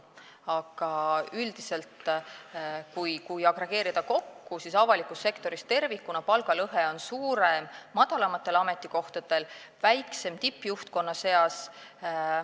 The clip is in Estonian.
Aga üldiselt, kui agregeerida, siis avalikus sektoris tervikuna on palgalõhe suurem madalamatel ametikohtadel, väiksem tippjuhtkonna seas.